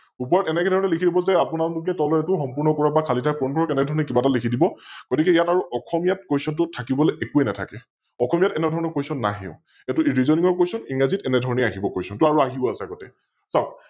ওপৰত এনেকে ধৰনে লিখি দিব যে আপোনালোকে তলৰ এইতো সম্পূৰ্ণ কৰক বা খালি ঠাই পুৰণ কৰক এনেধৰনে কিবা এটা লিখি দিব । গতিকে ইয়াত আৰু অসমীয়াত Question টো থাকিবলৈ একোয়ে নাথাকে । অসমীয়াত এনেধৰণৰ Question নাহেও । এইতো Reasoning ৰ Question ইংৰাজীত এনেধৰণে আহিব Question টো আৰু আহিও আছে আগতে